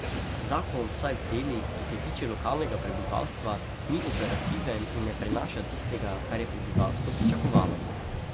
Zakon vsaj v delih, ki se tiče lokalnega prebivalstva, ni operativen in ne prinaša tistega, kar je prebivalstvo pričakovalo.